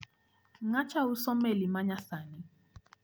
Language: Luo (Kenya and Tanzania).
Ng`acha uso meli ma nyasani.